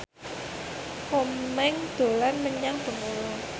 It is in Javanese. Komeng dolan menyang Bengkulu